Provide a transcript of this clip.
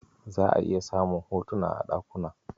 Za'a iya samun hotuna a ɗakuna.